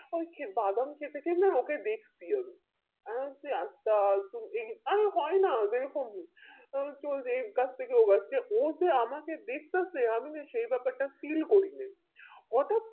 আমি খে বাদাম খেতে খেতে ওকে দেখছি আমি আরে হয় না ওদেরি খুব ও চলছে এই গাছ থেকে ওই গাছে ও যে আমাকে দেখতাছে আমিও সেই ব্যাপারটা feel করি নাই হটাৎ